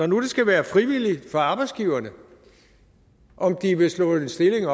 nu skal være frivilligt for arbejdsgiverne om de vil slå en stilling